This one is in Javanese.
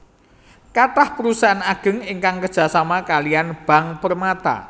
Kathah perusahaan ageng ingkang kerja sama kaliyan Bank Permata